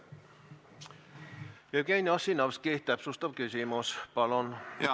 Jevgeni Ossinovski, täpsustav küsimus, palun!